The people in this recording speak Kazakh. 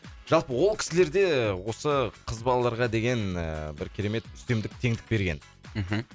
жалпы ол кісілер де осы қыз балаларға деген ііі бір керемет үстемдік теңдік берген мхм